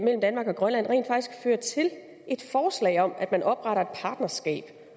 mellem danmark og grønland rent faktisk fører til et forslag om at man opretter et partnerskab